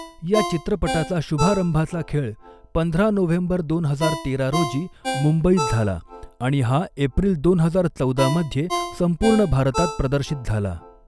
या चित्रपटाचा शुभारंभाचा खेळ पंधरा नोव्हेंबर दोन हजार तेरा रोजी मुंबईत झाला आणि हा एप्रिल दोन हजार चौदा मध्ये संपूर्ण भारतात प्रदर्शित झाला.